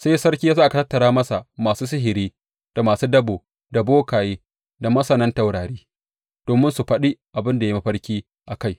Sai sarki ya sa aka tattara masa masu sihiri da masu dabo da bokaye da masanan taurari domin su faɗi abin da ya yi mafarki a kai.